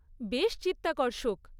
বেশ চিত্তাকর্ষক।